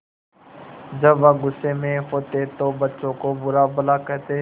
जब वह गुस्से में होते तो बच्चों को बुरा भला कहते